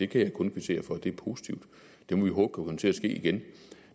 kan jeg kun kvittere for det er positivt og det må vi håbe kan komme til at ske igen